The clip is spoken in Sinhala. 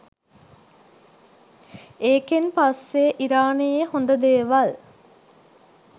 ඒකෙන් පස්සේ ඉරානයේ හොඳ දේවල්